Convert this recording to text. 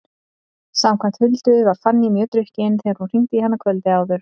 Samkvæmt Huldu var Fanný mjög drukkin þegar hún hringdi í hana kvöldið áður.